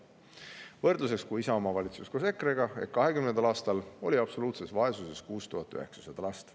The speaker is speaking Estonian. Võrdluseks: ajal, kui Isamaa valitses koos EKRE-ga, ehk 2020. aastal oli absoluutses vaesuses 6900 last.